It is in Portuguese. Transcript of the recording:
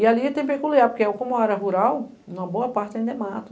E ali é até peculiar, porque como é uma área rural, na boa parte ainda é mato.